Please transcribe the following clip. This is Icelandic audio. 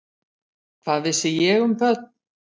Hvað vissi ég um börn?